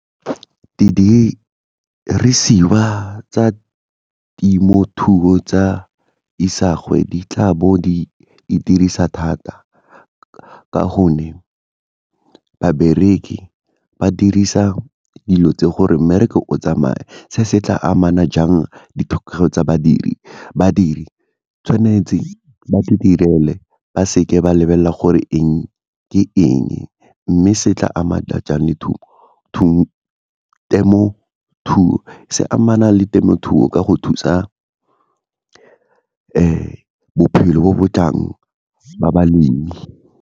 Didirisiwa tsa temothuo tsa isagwe di tla bo di itirisa thata ka gonne babereki ba dirisa dilo tse gore mmereko o tsamaye, se se tla amana jang ditlhokego tsa badiri, badiri tshwanetse ba itirele ba seke ba lebelela gore eng ke eng, mme se tla amana jang temothuo se amana le temothuo ka go thusa bophelo bo bo tlang ba balemi.